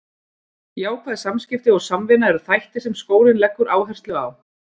Jákvæð samskipti og samvinna eru þættir sem skólinn leggur áherslu á.